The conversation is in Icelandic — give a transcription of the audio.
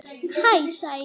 Hæ sagði ég.